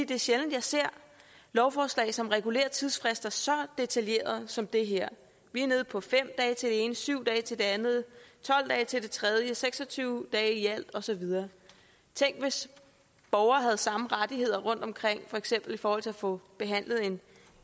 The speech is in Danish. det er sjældent jeg ser lovforslag som regulerer tidsfrister så detaljeret som det her vi er nede på fem dage til det ene syv dage til det andet tolv dage til det tredje og seks og tyve dage i alt og så videre tænk hvis borgere havde samme rettigheder rundtomkring for eksempel i forhold til at få behandlet en